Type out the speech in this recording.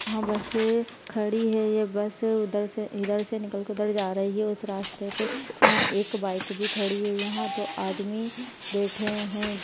वह बस खड़ी है ये बस उधर से इधर से निकल के उधर जा रही है इस रास्ते पे यहाँ एक बाइक भी खड़ी है यहाँ दो आदमी बैठे है।